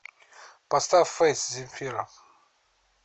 сбер поставь фейс земфира